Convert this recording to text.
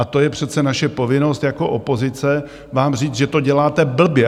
A to je přece naše povinnost jako opozice vám říci, že to děláte blbě.